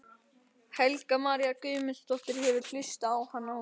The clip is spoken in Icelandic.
Helga María Guðmundsdóttir: Hefurðu hlustað á hann áður?